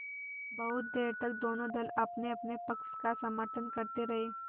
बहुत देर तक दोनों दल अपनेअपने पक्ष का समर्थन करते रहे